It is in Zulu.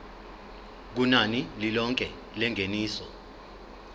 kunani lilonke lengeniso